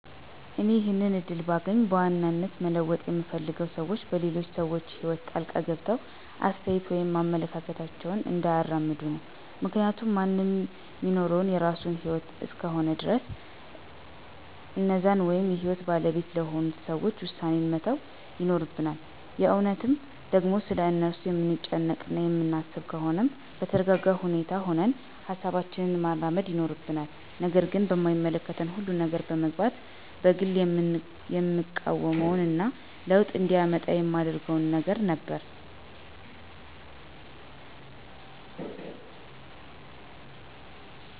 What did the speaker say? እኔ ይሄንን እድል ባገኝ በዋናነት መለወጥ ምፈልገው ሰዎች በሌሎች ሰዎች ህይወት ጣልቃ ገብተው አስተያየት ወይም አመለካከታቸውን እንዳያራምዱ ነው። ምክንያቱም ማንም ሚኖረው የራሱን ህይወት እስከሆነ ድረስ የእነዛን ወይም የህይወቱ ባለቤት ለሆኑት ሰዎች ዉሳኔዉን መተው ይኖርብናል። የእውነትም ደግሞ ስለ እነርሱ የምንጨነቅ እና የሚያሳስበን ከሆነም በተረጋጋ ሁኔታ ሁነን ሀሳባችንን ማራመድ ይኖርብናል። ነገር ግን በማይመለከተን ሁሉ ነገር መግባትን በግሌ የምቃወመው እና ለዉጥ እንዲመጣ የማደርገው ነገር ነበር።